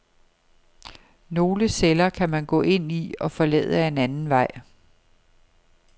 Nogle celler kan man gå ind i og forlade ad en anden vej.